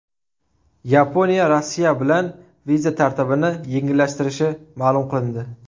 Yaponiya Rossiya bilan viza tartibini yengillashtirishi ma’lum qilindi.